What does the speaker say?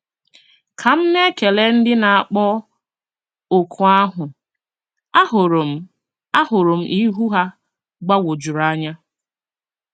Ka m na-ekele ndị na-akpọ oku ahụ, ahụrụ m ahụrụ m ihu ha gbagwojuru anya.